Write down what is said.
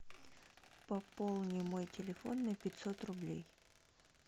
пополни мой телефон на пятьсот рублей